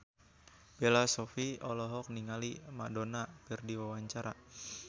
Bella Shofie olohok ningali Madonna keur diwawancara